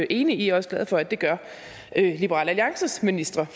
enig i og også glad for at det gør liberal alliances ministre